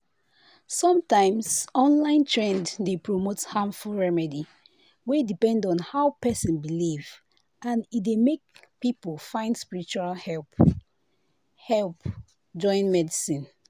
sometimes online trend dey promote harmful remedy wey depend on how person believe and e dey make people find spiritual help help join medicine.